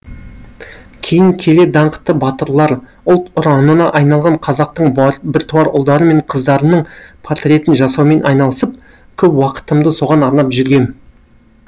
кейін келе даңқты батырлар ұлт ұранына айналған қазақтың біртуар ұлдары мен қыздарының портретін жасаумен айналысып көп уақытымды соған арнап жүргем